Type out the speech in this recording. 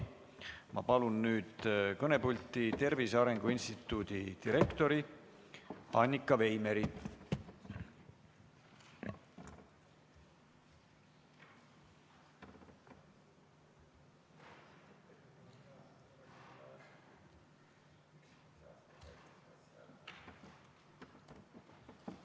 Ma palun kõnepulti Tervise Arengu Instituudi direktori Annika Veimeri.